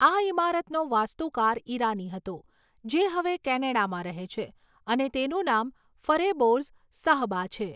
આ ઈમારતનો વાસ્તુકાર ઈરાની હતો, જે હવે કેનેડામાં રહે છે, અને તેનું નામ ફરેબોર્ઝ સાહ્બા છે.